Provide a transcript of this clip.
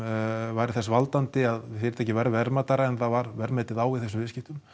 væri þess valdandi að fyrirtækið verði verðmætara en það var metið á í þessum viðskiptum